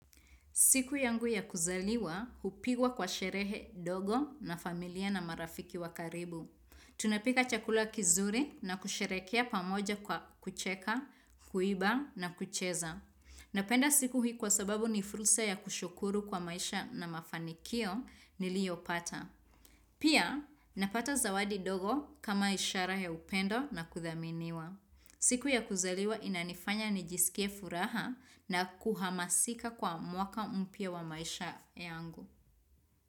Siku yangu ya kuzaliwa, hupigwa kwa sherehe dogo na familia na marafiki wa karibu. Tunapika chakula kizuri na kusherekea pamoja kwa kucheka, kuiba na kucheza. Napenda siku hii kwa sababu ni fursa ya kushukuru kwa maisha na mafanikio niliyopata. Pia, napata zawadi dogo kama ishara ya upendo na kuthaminiwa. Siku ya kuzaliwa inanifanya nijisikie furaha na kuhamasika kwa mwaka mpya wa maisha yangu.